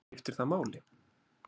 Skiptir það máli?